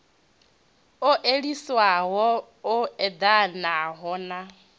u theliswaho u eḓanaho na